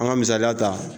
An ka misaliya ta